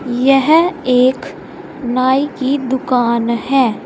यह एक नाई की दुकान है।